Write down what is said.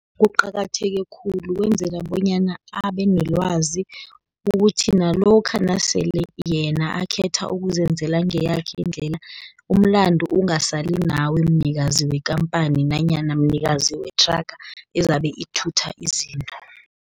Kuqakatheke khulu kwenzela bonyana abe nelwazi, ukuthi nalokha nasele yena akhetha ukuzenzela ngeyakhe indlela, umlandu ungasali nawe mnikazi wekampani, nanyana mnikazi wethraga ezabe ithutha izinto.